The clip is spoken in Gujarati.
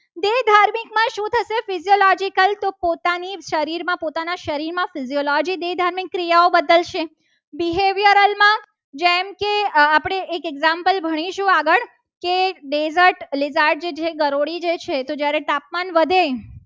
પોતાની શરીરમાં પોતાના શરીરમાં psychology દે ધાર્મિક ક્રિયાઓ બદલશે. જેમ કે એક example આપણે ભણીશું. આગળ કે desert જે છે. ગરોળી છે. તો જ્યારે તાપમાન વધે